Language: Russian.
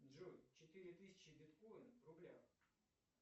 джой четыре тысячи биткоинов в рублях